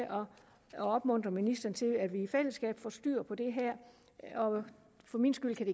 at opmuntre ministeren til at vi i fællesskab får styr på det her og for min skyld kan